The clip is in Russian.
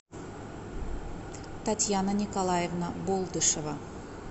татьяна николаевна болдышева